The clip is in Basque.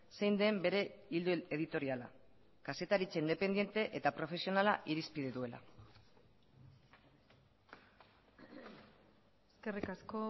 zein den bere ildo editoriala kazetaritza independente eta profesionala irizpide duela eskerrik asko